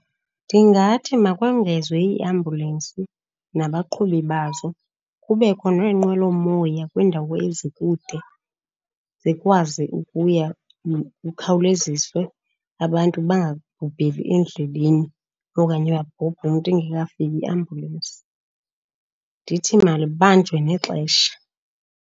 Ndingathi makongezwe iiambulensi nabaqhubi bazo. Kubekho neenqwelomoya kwiindawo ezikude, zikwazi ukuya, kukhawuleziswe abantu bangabhubheli endleleni okanye abhubhe umntu ingekafiki iambulensi. Ndithi malibanjiwe nexesha.